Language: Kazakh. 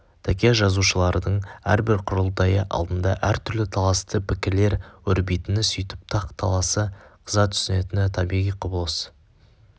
тәке жазушылардың әрбір құрылтайы алдында әртүрлі таласты пікірлер өрбитіні сөйтіп тақ-таласы қыза түсетіні табиғи құбылыс